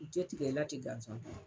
U tɛ tigɛ i la tɛ gansan.